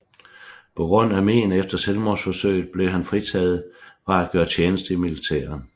På grund af men efter selvmordsforsøget blev han fritaget fra at gøre tjeneste i militæret